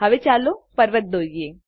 હવે ચાલો પર્વત દોરીએ